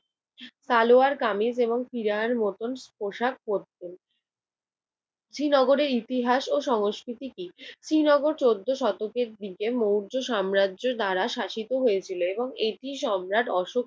সালোয়ার-কামিজ এবং পিরার মতন পোশাক পড়তেন। শ্রীনগরের ইতিহাস ও সংস্কৃতি কি? শ্রীনগর চৌদ্দ শতকের দিকে মৌর্য সাম্রাজ্য দ্বারা শাসিত হয়েছিল এবং এটি সম্রাট অশোক